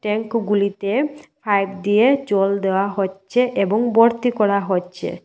ট্যাংকোগুলিতে pipe দিয়ে জল দেওয়া হচ্ছে এবং বর্তি করা হচ্ছে।